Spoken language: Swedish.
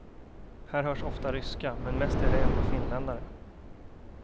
Här hörs ofta ryska, men mest är det ändå finländare.